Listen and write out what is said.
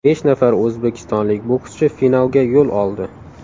Besh nafar o‘zbekistonlik bokschi finalga yo‘l oldi.